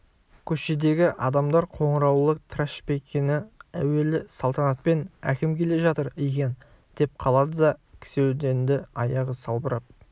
көшедегі адамдар қоңыраулы трашпеңкені әуелі салтанатпен әкім келе жатыр екен деп қалады да кісендеулі аяғы салбырап